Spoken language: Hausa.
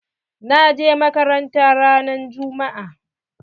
Na je makaranta ran juma'a.